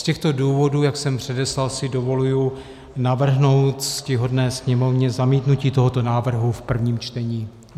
Z těchto důvodů, jak jsem předeslal, si dovoluji navrhnout ctihodné Sněmovně zamítnutí tohoto návrhu v prvním čtení.